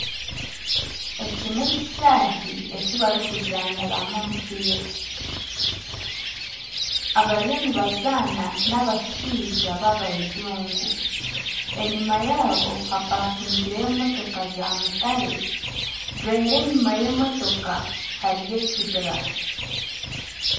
Eki nekishaahi ekibarikuzaaniramu omupiira abariyo nibazaana nabashaija babajungu enyuma yaabo hapakingireyo motoka za mutare deru enyuma y'emotoka hariyo ekibira.